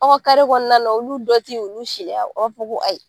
Aw kare kɔnɔna wulu bɛ dɔ kin u bi si n'a ye.